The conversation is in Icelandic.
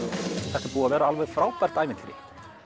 þetta er búið að vera alveg frábært ævintýri